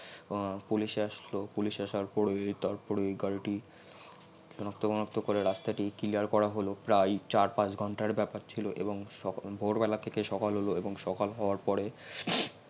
police আসলো police এসে তারপরে গারিটি সনাক্ত করে রাস্তাটি clear করা হল প্রাই চার পাচ ঘন্তার বাপার ছিল এবং ভোর বেলা থেকে সকাল হল এবং সকাল হউয়ার পরে